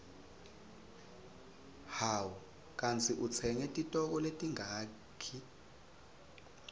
hawu kandzi utsenge titoko letingaki